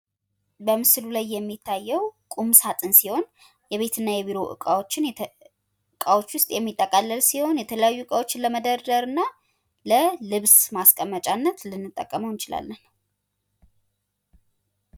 በምስሉ ላይ የሚታየው ቁምሳጥን ሲሆን የቤት እና የቢሮ እቃዎች ውስጥ የሚጠቃለል ሲሆን የተለያዩ እቃዎችን ለመደርደር እና ለልብስ ማስቀመጫነት ልንጠቀመው እንችላለን።